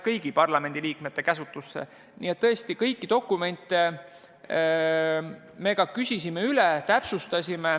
Nii et tõesti me küsisime dokumentide kohta üle, et asja täpsustada.